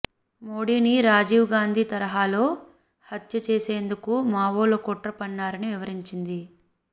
మోడీని రాజీవ్ గాంధీ తరహాలో హత్య చేసేందుకు మావోలు కుట్ర పన్నారని వివరించింది